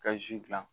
Ka zi dilan